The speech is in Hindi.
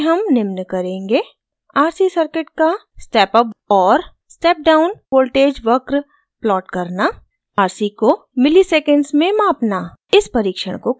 इस परिक्षण में हम निम्न करेंगे: